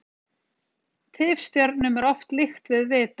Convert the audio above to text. tifstjörnum er oft líkt við vita